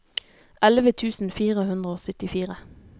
elleve tusen fire hundre og syttifire